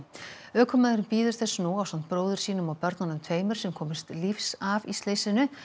ökumaðurinn bíður þess nú ásamt bróður sínum og börnunum tveimur sem komust lífs af í slysinu